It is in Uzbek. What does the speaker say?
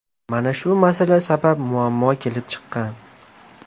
Mana shu masala sabab muammo kelib chiqqan.